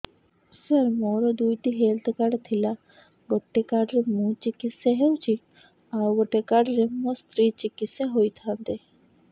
ସାର ମୋର ଦୁଇଟି health card ଥିଲା ଗୋଟେ କାର୍ଡ ରେ ମୁଁ ଚିକିତ୍ସା ହେଉଛି ଆଉ ଗୋଟେ କାର୍ଡ ରେ ମୋ ସ୍ତ୍ରୀ ଚିକିତ୍ସା ହୋଇଥାନ୍ତେ